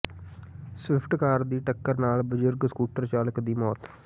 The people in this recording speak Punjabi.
ਸਵਿਫਟ ਕਾਰ ਦੀ ਟਕਰ ਨਾਲ ਬਜ਼ੁਰਗ ਸਕੂਟਰ ਚਾਲਕ ਦੀ ਮੌਤ